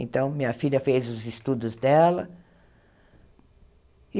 Então, minha filha fez os estudos dela.